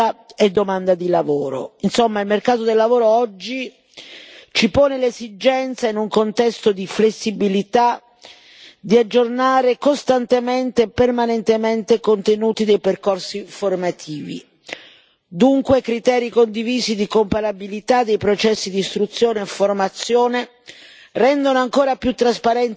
Insomma, il mercato del lavoro oggi ci pone l'esigenza, in un contesto di flessibilità, di aggiornare costantemente e permanentemente i contenuti dei percorsi formativi, dunque criteri condivisi di comparabilità dei processi di istruzione e formazione rendono ancora più trasparenti questi percorsi, migliorando